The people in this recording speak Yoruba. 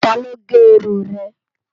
Táló gè irún rè?